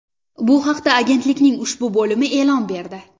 Bu haqda agentlikning ushbu bo‘limi e’lon berdi.